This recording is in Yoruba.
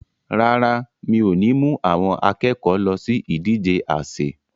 Rárá, mi ò ní mú àwọn akẹ́kọ̀ọ́ lọ sí ìdije àsè.